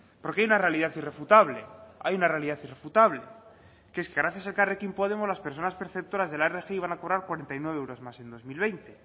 porque hay una realidad irrefutable hay una realidad irrefutable que es que gracias a elkarrekin podemos las personas perceptoras de la rgi van a cobrar cuarenta y nueve euros más en dos mil veinte